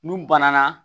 N'u banana